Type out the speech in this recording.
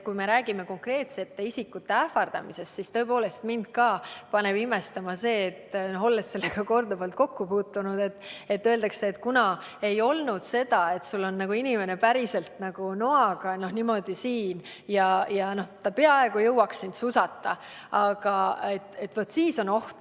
Kui räägime konkreetsete isikute ähvardamisest, siis tõepoolest ka mind paneb imestama, olles sellega ise korduvalt kokku puutunud, et öeldakse, et ei olnud, seda, et sul on inimene päriselt noaga kõrval ja ta peaaegu jõuaks sind susata – vaat siis oleks oht.